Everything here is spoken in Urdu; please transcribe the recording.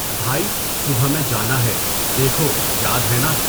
بھائی، صبح میں جانا ہے، دیکھو یاد ہیں نا؟